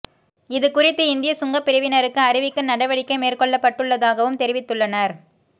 இது குறித்து இந்திய சுங்கப் பிரிவினருக்கு அறிவிக்க நடவடிக்கை மேற்கொள்ளப்பட்டுள்ளதாகவும் தெரிவித்துள்ளனர்